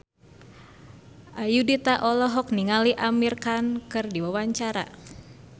Ayudhita olohok ningali Amir Khan keur diwawancara